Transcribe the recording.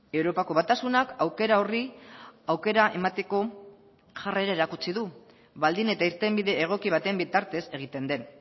europako batasunak aukera horri aukera emateko jarrera erakutsi du baldin eta irtenbide egoki baten bitartez egiten den